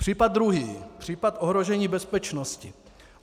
Případ druhý, případ ohrožení bezpečnosti.